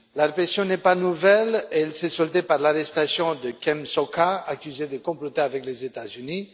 La répression n'est pas nouvelle, elle s'est soldée par l'arrestation de Kem Sokha, accusé de comploter avec les États Unis.